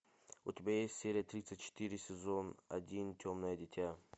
у тебя есть серия тридцать четыре сезон один темное дитя